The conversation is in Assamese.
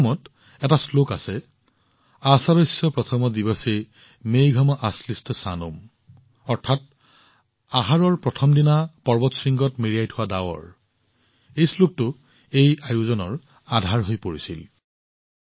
মেঘদূতমত এটা শ্লোক আছে প্ৰথম দিনা আষাদস্য মেঘম আশ্লিষ্ট সানুম অৰ্থাৎ আহাৰৰ প্ৰথম দিনা পৰ্বত শৃংগত মেৰিয়াই থোৱা ডাৱৰ এই শ্লোকটো এই ঘটনাৰ আধাৰ হৈ পৰিছিল